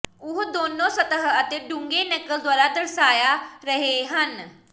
ਉਹ ਦੋਨੋ ਸਤਹ ਅਤੇ ਡੂੰਘੇ ਨਕਲ ਦੁਆਰਾ ਦਰਸਾਇਆ ਰਹੇ ਹਨ